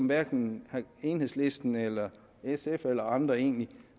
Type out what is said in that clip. hverken enhedslisten eller sf eller andre egentlig